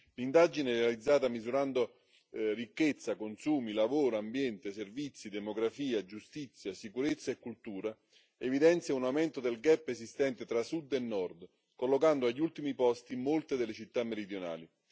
L'indagine, realizzata misurando ricchezza, consumi, lavoro, ambiente, servizi, demografia, giustizia, sicurezza e cultura, evidenzia un aumento del gap esistente tra sud e nord, collocando agli ultimi posti molte delle città meridionali.